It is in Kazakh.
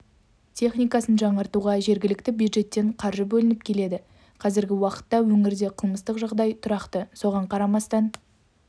техникасын жаңартуға жергілікті бюджеттен қаржы бөлініп келеді қазіргі уақытта өңірде қылмыстық жағдай тұрақты соған қарамастан